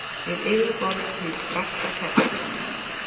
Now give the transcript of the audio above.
við yfirborð hins fasta kjarna.